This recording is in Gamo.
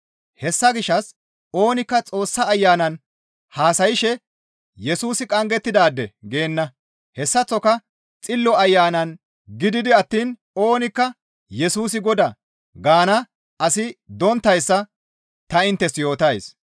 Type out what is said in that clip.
Hessa gishshas oonikka Xoossa Ayanan haasayshe, «Yesusi qanggettidaade» geenna. Hessaththoka Xillo Ayanan gididi attiin oonikka, «Yesusi Godaa» gaana asi donttayssa ta inttes yootays.